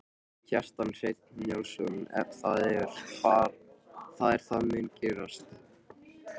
Kjartan Hreinn Njálsson: Það er það mun gerast?